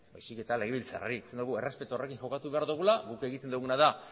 baizik eta legebiltzarrari esan dugu errespetu horrekin jokatu behar dugula guk egiten duguna da